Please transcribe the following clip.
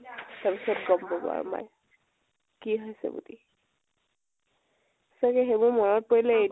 তাৰ পিছত গম পাব আৰু মায়ে । কি হৈছে বুলি । সচাকে সেই বোৰ মনত পৰিলে